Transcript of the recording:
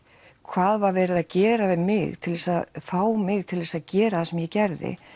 hvað var verið að gera við mig til þess að fá mig til að gera það sem ég gerði